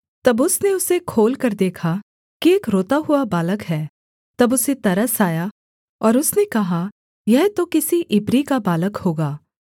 तब उसने उसे खोलकर देखा कि एक रोता हुआ बालक है तब उसे तरस आया और उसने कहा यह तो किसी इब्री का बालक होगा